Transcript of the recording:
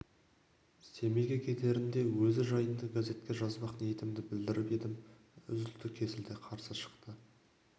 семейге кетерінде өзі жайында газетке жазбақ ниетімді білдіріп едім үзілді-кесілді қарсы шықты